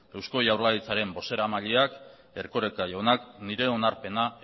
eusko jaurlaritzaren bozeramaileak erkoreka jaunak nire onarpena